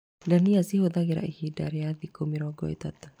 Ndania ci hũthĩraga ihinda rĩa thikũ mĩrongo ĩtatũ.